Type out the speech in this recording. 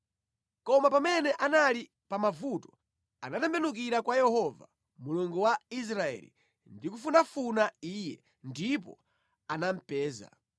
Koma pamene anali pa mavuto anatembenukira kwa Yehova, Mulungu wa Israeli ndi kufunafuna Iye, ndipo anamupeza.